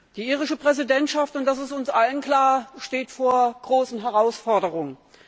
Die irische Präsidentschaft und das ist uns allen klar steht vor großen Herausforderungen.